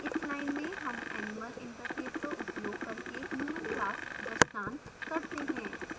इस line में human animal interface का उपयोग करके human class दृष्टांत करते हैं